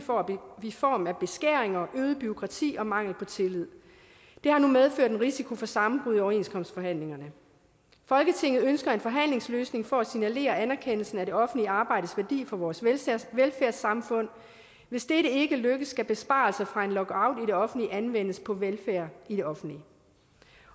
i form af beskæringer øget bureaukrati og mangel på tillid det har nu medført en risiko for sammenbrud i overenskomstforhandlingerne folketinget ønsker en forhandlingsløsning for at signalere anerkendelse af det offentlige arbejdes værdi for vores velfærdssamfund hvis dette ikke lykkes skal besparelser fra en lockout i det offentlige anvendes på velfærd i det offentlige